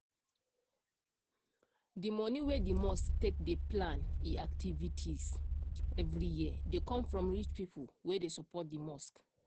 di money wey di mosque take dey plan e activities activities every year dey com from rich pipo wey dey support di mosque.